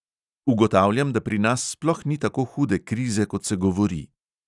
Ugotavljam, da pri nas sploh ni tako hude krize, kot se govori.